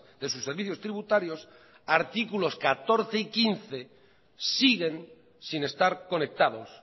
de sus servicios tributarios artículos catorce y quince siguen sin estar conectados